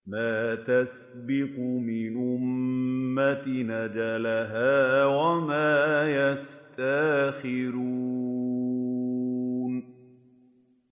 مَّا تَسْبِقُ مِنْ أُمَّةٍ أَجَلَهَا وَمَا يَسْتَأْخِرُونَ